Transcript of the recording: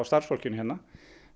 starfsfólki hérna